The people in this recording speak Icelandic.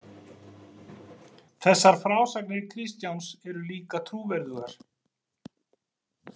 Þessar frásagnir Kristjáns eru líka trúverðugar.